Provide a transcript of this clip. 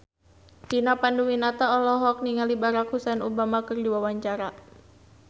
Vina Panduwinata olohok ningali Barack Hussein Obama keur diwawancara